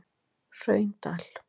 Hraundal